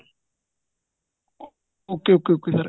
okay okay okay sir